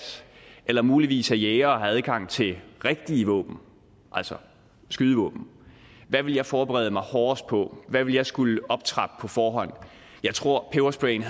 eller muligvis er jæger og har adgang til rigtige våben altså skydevåben hvad ville jeg forberede mig hårdest på hvad ville jeg skulle optrappe på forhånd jeg tror pebersprayen